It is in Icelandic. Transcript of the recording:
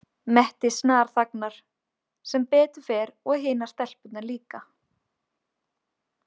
Mette snarþagnar, sem betur fer, og hinar stelpurnar líka.